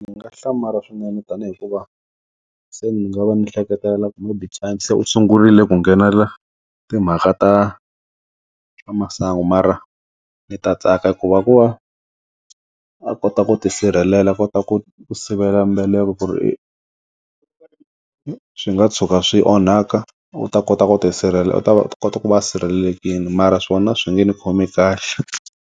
Ndzi nga hlamala swinene tanihi hikuva se ni nga va ni hleketelela ku maybe u sungurile ku nghenela timhaka ta ta masangu mara ndzi ta tsaka hikuva ku va a kota ku ti sirhelela a kota ku sivela mbeleko ku ri swi nga tshuka swi onhaka u ta kota ku ti sirhelela u ta kota ku va a sirhelelekini mara swona swi nge ndzi khomi kahle.